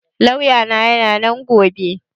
Lauya na yana nan gobe